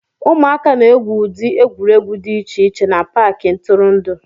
Ụmụaka na-egwu ụdị egwuregwu dị iche iche na Paakị ntụrụndụ